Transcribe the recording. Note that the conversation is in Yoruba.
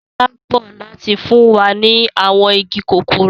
Sọlá ń bọ̀ láti fún wa ní àwọn igi kòkó rẹ̀